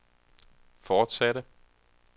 fortsatte